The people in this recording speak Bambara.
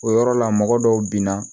O yɔrɔ la mɔgɔ dɔw bi na